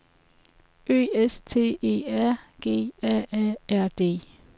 Ø S T E R G A A R D